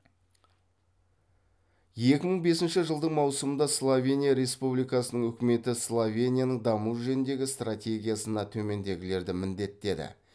екі мың бесінші жылдың маусымында словения республикасының үкіметі словенияның даму жөніндегі стратегиясына төмендегілерді міндеттеді